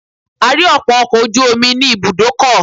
A rí ọ̀pọ̀ ọkọ̀ ojú omi ní ibùdókọ̀.